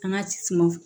An ka suma